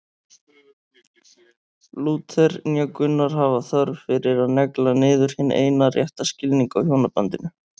Lúther né Gunnar hafa þörf fyrir að negla niður hinn eina rétta skilning á hjónabandinu.